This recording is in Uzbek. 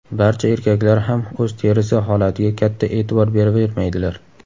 Barcha erkaklar ham o‘z terisi holatiga katta e’tibor beravermaydilar.